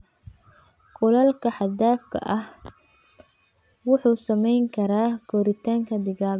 Kuleylka xad-dhaafka ah wuxuu saameyn karaa koritaanka digaagga.